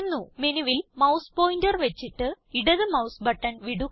മെനുവിൽ mouse pointer വച്ചിട്ട് ഇടത് മൌസ് ബട്ടൺ വിടുക